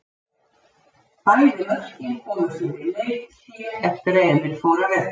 Bæði mörkin komu fyrir leikhlé eftir að Emil fór af velli.